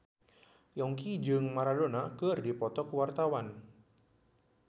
Yongki jeung Maradona keur dipoto ku wartawan